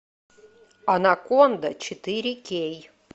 анаконда четыре кей